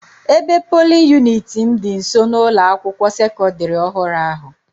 Ebe polin yuniti m dị nso n'ụlọ akwụkwọ sekọdịrị ọhụrụ ahụ.